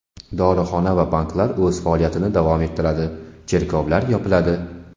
Dorixona va banklar o‘z faoliyatini davom ettiradi, cherkovlar yopiladi.